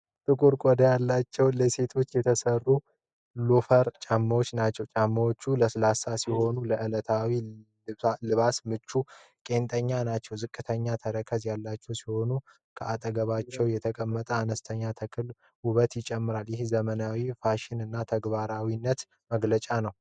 ጥቁር ቆዳ ያላቸው፣ ለሴቶች የተሰሩ ሎፈር ጫማዎች ናቸው። ጫማዎቹ ለስላሳ ሲሆኑ፣ ለዕለታዊ ልባስ ምቹና ቄንጠኛ ናቸው። ዝቅተኛ ተረከዝ ያላቸው ሲሆን፣ ከአጠገባቸው የተቀመጠው አነስተኛ ተክል ውበት ይጨምራል። ይህ የዘመናዊ ፋሽንና ተግባራዊነት መገለጫ ነው።